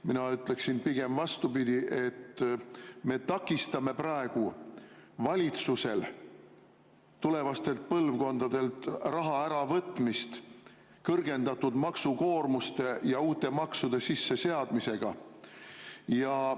Mina ütleksin pigem vastupidi: me takistame praegu valitsust, et ta ei võtaks tulevastelt põlvkondadelt raha kõrgema maksukoormuse ja uute maksude sisseseadmisega ära.